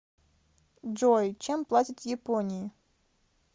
джой чем платят в японии